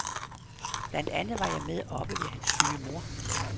Blandt andet var jeg med oppe og ved hans syge mor.